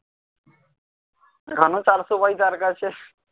এখনও চারশো পাই তারকাছে